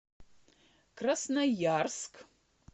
красноярск